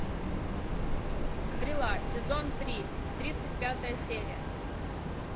стрела сезон три тридцать пятая серия